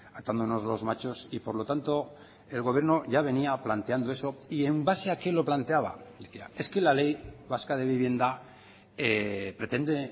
atándonos los machos y por lo tanto el gobierno ya venía planteando eso y en base a qué lo planteaba es que la ley vasca de vivienda pretende